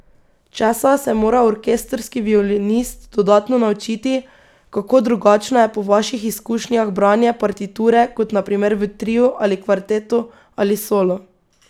Česa se mora orkestrski violinist dodatno naučiti, kako drugačno je po vaših izkušnjah branje partiture kot na primer v triu ali kvartetu ali solo?